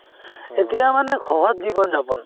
এতিয়া মানে সহজ জীৱন-যাপন